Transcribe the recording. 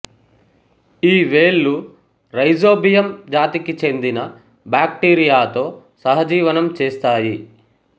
ఈ వేళ్ళు రైజోబియం జాతికి చెందిన బాక్టీరియాతో సహజీవనం చేస్తాయి